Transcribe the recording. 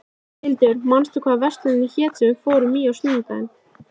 Hildur, manstu hvað verslunin hét sem við fórum í á sunnudaginn?